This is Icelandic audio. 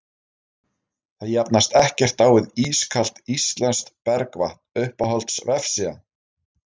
það jafnast ekkert á við ískalt íslenskt bergvatn Uppáhalds vefsíða?